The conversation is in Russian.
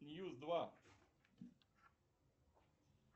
ньюс два